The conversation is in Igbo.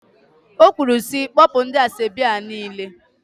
O kwuru sị, kpọpụ ndị asọebi a niile!